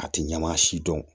A tɛ ɲɛma si dɔn